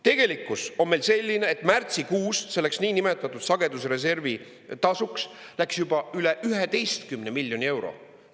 Tegelikkus on selline, et märtsikuust selleks niinimetatud sagedusreservi tasuks läks juba üle 11 miljoni euro.